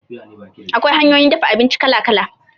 Akwai hanyoyin dafa abinci kala kala